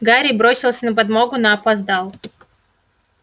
гарри бросился на подмогу но опоздал